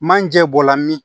Manje bɔla min